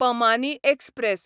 पमानी express